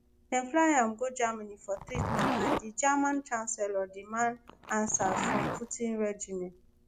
dem fly am go germany for treatment and di german chancellor demand answers from putin regime